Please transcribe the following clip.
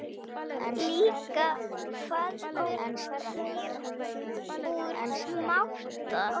Líka faðmur hlýr úr máta.